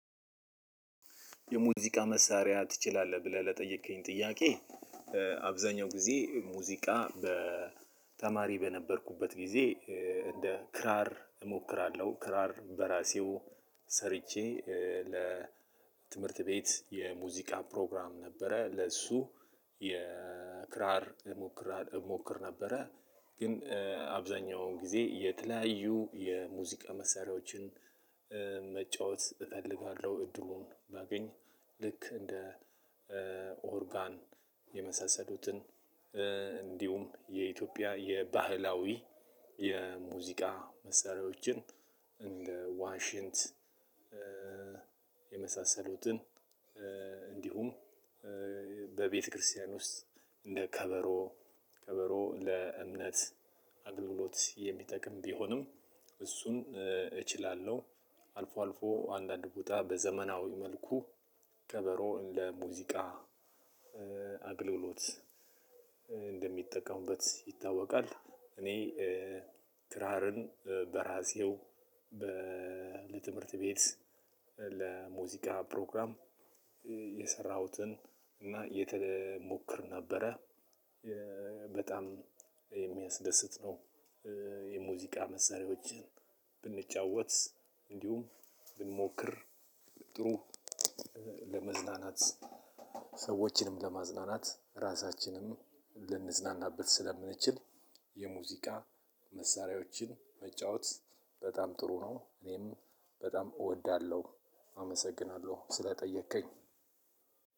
የሙዚቃ መሳሪያ ትችላለህ ብለህ ለጠየከኝ ጥያቄ? አብዛኛው ጊዜ ሙዚቃ በተማሪ በነበርኩበት ጊዜ እንደ ክራር እሞክራለሁ ክራር በራሴው ሰርቼ ለትምህርት ቤት የሙዚቃ ፕሮግራም ነበረ ለሱ የክራር እሞክር እሞክር ነበረ። ግን አብዛኛውን ጊዜ የተለያዩ የሙዚቃ መሳሪያዎችን። መጫወት እፈልጋለሁ እድሉን ባገኝ ልክ እንደ ኦርጋን የመሳሰሉትን እንዲሁም የኢትዮጵያ የባህላዊ የሙዚቃ መሳሪያዎችን እንደ ዋሽንት። የመሳሰሉትን እንዲሁም በቤተክርስቲያን ውስጥ እንደ ከበሮ ከበሮ ለእምነት አግልሎት የሚጠቅም ቢሆንም እሱን እችላለሁ። አልፎ አልፎ አንዳንድ ቦታ በዘመናዊ መልኩ ከበሮ ለሙዚቃ አግልሎት እንደሚጠቀሙበት ይታወቃል። እኔ ክራርን በራሴው ለትምህርት ቤት ለሙዚቃ ፕሮግራም የሰራሁትን እና እሞክር ነበረ። በጣም የሚያስደስት ነው። የሙዚቃ መሰረታዎችን ብንጫወት እንዲሁም ብንሞክር ጥሩ ለመዝናናት ሰዎችንም ለማዝናናት ራሳችንንም ልንዝናናበት ስለምንችል የሙዚቃ መሳሪያዎችን መጫወት በጣም ጥሩ ነው። እኔም በጣም እወዳለሁ አመሰግናለሁ ስለጠየከኝ።